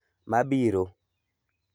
Mabiro.